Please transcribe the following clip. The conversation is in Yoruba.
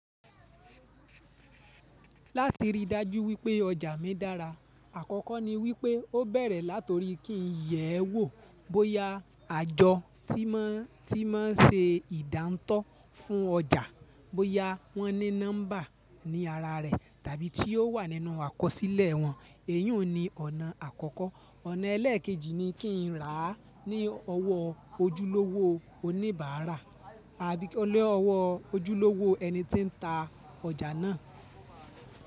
Láti ríi dájú wípé ọjà mi dára, àkọ́kọ́ ni wípé ó bẹ̀rẹ̀ látori kí n yẹ̀ẹ́ wò bóyá àjọ tí mọ́n tí mo ń ṣe ìdáńtọ́ fún ọjà, bóyá wọ́n ní nọ́mbà ní ara rẹ̀ tàbí tí ó wà nínú àkọsílẹ̀ wọn. Èyùn ni ọ̀nà àkọ́kọ́. Ọ̀nà ẹlẹ́ẹ̀kejì ni kí n rà á ní ọwọ́ ojúlówó oníbàárà àbí ni ọwọ́ ojúlówó ẹni tí ń ta ọjà náà.